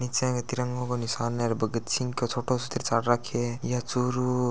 नीचे तिरंगा को निशान हे र भगतसिंह का छोटो तिरसान राख्यो है यह चूरू --